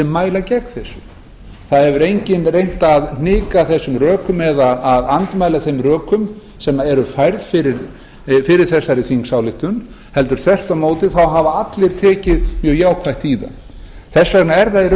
mæla gegn tillögunni enginn hefur reynt að hnika eða andmæla þeim rökum sem færð hafa verið fyrir þingsályktunartillögunni þvert á móti hafa allir tekið mjög jákvætt undir hana því er